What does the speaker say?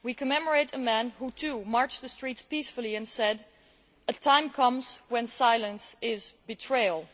We commemorate a man who, too, marched the streets peacefully and said a time comes when silence is betrayal'.